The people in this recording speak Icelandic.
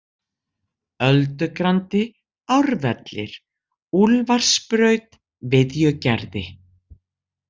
Öldugrandi, Árvellir, Úlfarsbraut, Viðjugerði